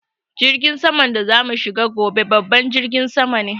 Jirgin saman da za mu shiga gobe babban jirgi sama ne